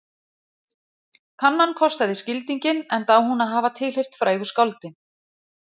Kannan kostaði skildinginn enda á hún að hafa tilheyrt frægu skáldi